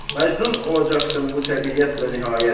Məcnun olacaqsan bu təbiyyətlə nihayət.